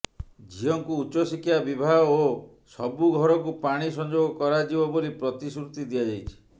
ଝିଅଙ୍କୁ ଉଚ୍ଚଶିକ୍ଷା ବିବାହ ଓ ସବୁ ଘରକୁ ପାଣି ସଂଯୋଗ କରାଯିବ ବୋଲି ପ୍ରତିଶ୍ରୁତି ଦିଆଯାଇଛି